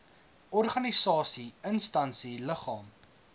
organisasie instansie liggaam